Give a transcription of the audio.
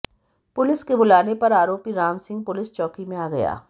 police के बुलाने पर आरोपी रामसिंह पुलिस चौकी में आ गया